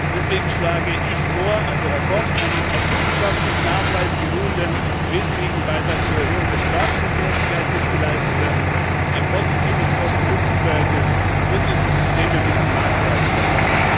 Deswegen schlage ich also Herr Koch vor Es muss ein auf wissenschaftlichem Nachweis beruhender wesentlicher Beitrag zur Erhöhung der Straßenverkehrssicherheit geleistet werden, ein positives Kosten Nutzenverhältnis, und diese Systeme müssen marktreif sein.